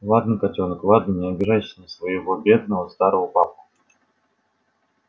ладно котёнок ладно не обижайся на своего бедного старого папку